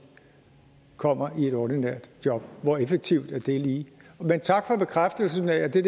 kommer i et ordinært job hvor effektivt er det lige men tak for bekræftelsen af at det